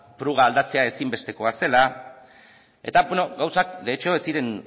pruga aldatzea ezinbestekoa zela eta bueno gauzak de hecho ez ziren